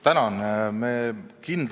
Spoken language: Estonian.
Tänan!